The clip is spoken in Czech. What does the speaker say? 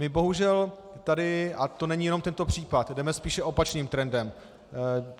My bohužel tady, a to není jenom tento případ, jdeme spíše opačným trendem.